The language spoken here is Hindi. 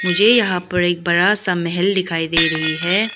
मुझे यहां पर एक बड़ा सा महल दिखाई दे रही है।